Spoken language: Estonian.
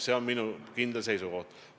See on minu kindel seisukoht.